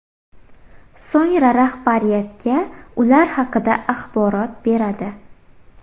So‘ngra rahbariyatga ular haqida axborot beradi.